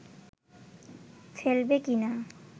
ফেলবে কিনা